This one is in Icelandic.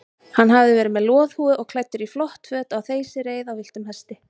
Hann hafði verið með loðhúfu og klæddur í flott föt á þeysireið á villtum hesti.